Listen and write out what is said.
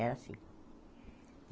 Era assim.